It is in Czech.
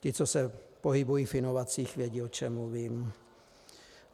Ti, co se pohybují v inovacích, vědí, o čem mluvím.